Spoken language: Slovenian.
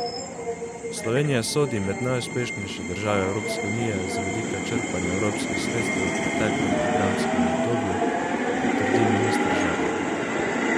Slovenija sodi med najuspešnejše države Evropske unije z vidika črpanja evropskih sredstev v preteklem programskem obdobju, trdi minister Žagar.